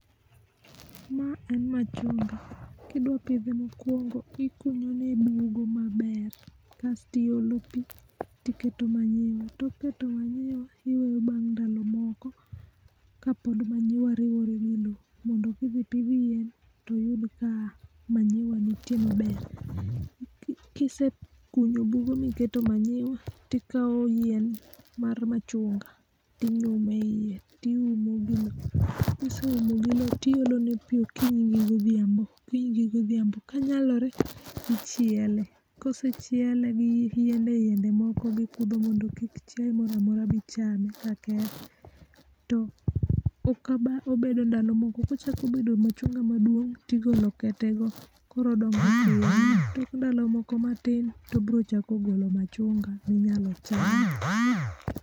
Ma en machunga, kidwa pidhe mokuongo ikunyone bugo maber kasto iolo pi to iketo manyiwa, tok keto manyiwa to iweye mar ndalo moko kapod manyiwa riwore gi lowo. Mondo ka idhi pidho yien to oyud ka mayniwa nitie maber. Ka isekunyo bugo miketo manyiwa to ikawo yien mar machunga, to inyumo eiye to iumo gi lowo. Ka ise umo gi lowo to iolo negi pi okinyi gi odhiambo, kanyalore to ichielo. Ka osechiele gi yiende yiende moko kaka kudho mondo kik chiaye moro amora bi chame ka kethe to ka ba bedo ndalo moko kochako bedo machunga maduong' to igolo ketego to tok ndalo matin to obiro chako golo machunga ma ibiro cham.